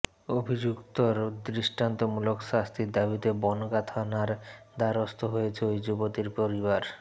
অভিযুক্তর দৃষ্টান্তমূলক শাস্তির দাবিতে বনগাঁ থানার দ্বারস্থ হয়েছে ওই যুবতীর পরিবার